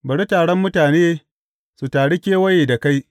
Bari taron mutane su taru kewaye da kai.